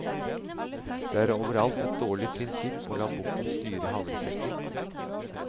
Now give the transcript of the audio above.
Det er overalt et dårlig prinsipp å la bukken styre havresekken.